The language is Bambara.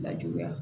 Lajuguya